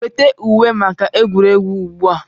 Weta uwe maka egwuregwu ugbu a!